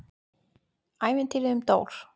ÆVINTÝRIÐ UM DÓR